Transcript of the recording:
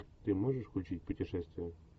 ты можешь включить путешествие